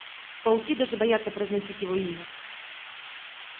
пауки даже боятся произносить его имя